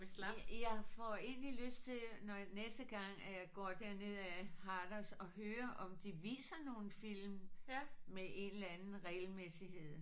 Jeg får egentlig lyst til når næste gang at jeg går dernedad Harders at høre om de viser nogle film med en eller anden regelmæssighed